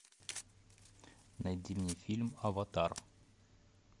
найди мне фильм аватар